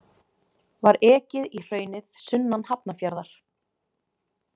Var ekið í hraunið sunnan Hafnarfjarðar.